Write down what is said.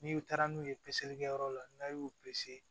N'i taara n'u ye peseli kɛ yɔrɔ la n'a y'u